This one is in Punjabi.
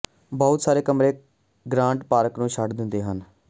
ਬਹੁਤ ਸਾਰੇ ਕਮਰੇ ਗਰਾਂਟ ਪਾਰਕ ਨੂੰ ਛੱਡ ਦਿੰਦੇ ਹਨ